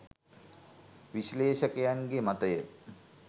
විශ්ලේෂකයන්ගේ මතය.